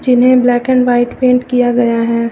जिन्हें black and white paint किया गया है।